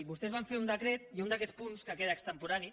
vostès van fer un decret i un d’aquests punts que queda extemporani